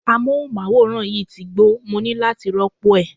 Amóhùnmáwòrán yìí ti gbó, mo ní láti rópò ẹ̀.